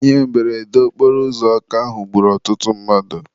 Ihe mberede okporo ụzọ Ọka ahụ gburu ọtụtụ mmadụ.